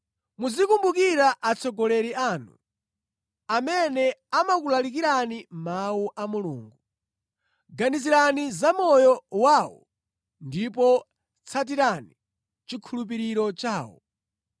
Muzikumbukira atsogoleri anu, amene amakulalikirani Mawu a Mulungu. Ganizirani zamoyo wawo ndipo tsatirani chikhulupiriro chawo.